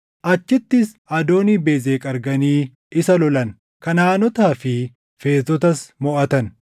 Achittis Adoonii-Bezeq arganii isa lolan; Kanaʼaanotaa fi Feerzotas moʼatan.